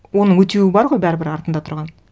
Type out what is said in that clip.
оның өтеуі бар ғой бәрібір артында тұрған